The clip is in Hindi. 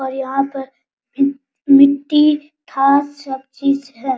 और यहां पर मि मिट्टी खास सब चीज है।